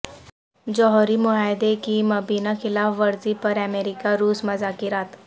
جوہری معاہدے کی مبینہ خلاف ورزی پر امریکہ روس مذاکرات